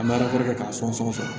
An bɛ alatɛ k'a fɔ sɔngɔn sɔrɔ fɔlɔ